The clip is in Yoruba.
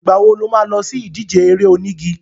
Ìgbà wo lo má lọ sí ìdíje eré onígi?